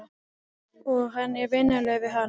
Og hann er vinalegur við hana.